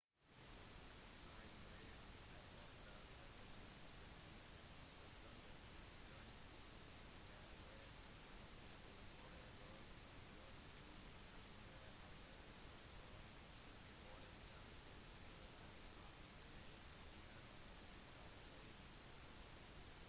reisebyråer har ofte avtaler med spesifikke hoteller skjønt det kan være muligheter for å booke losji i andre områder som for eksempel på en campingplass gjennom et reisebyrå